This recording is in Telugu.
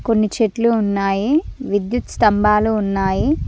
కొన్ని చెట్లు ఉన్నాయి విద్యుత్ స్తంభాలు ఉన్నాయి.